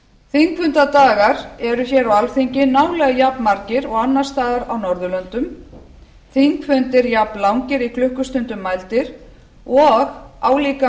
þingfundadagar eru hér á alþingi nálega jafnmargir og annars staðar á norðurlöndum þingfundir jafnlangir í klukkustundum mældir og álíka